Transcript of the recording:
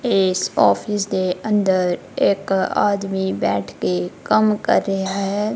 ਏਸ ਔਫਿਸ ਦੇ ਅੰਦਰ ਇੱਕ ਆਦਮੀ ਬੈਠਕੇ ਕੰਮ ਕਰ ਰਿਹਾ ਹੈ।